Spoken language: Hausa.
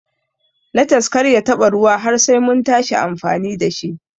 Lates Kar ya taɓa ruwa har Sai muntashi amfani dashi.